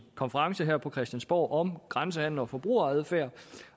konference her på christiansborg om grænsehandel og forbrugeradfærd